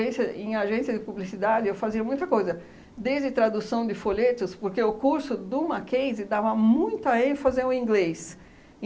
em agência de publicidade, eu fazia muita coisa, desde tradução de folhetos, porque o curso do Mackenzie dava muita ênfase ao inglês.